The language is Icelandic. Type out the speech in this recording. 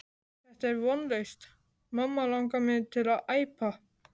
Þetta er vonlaust mamma langar mig til að æpa.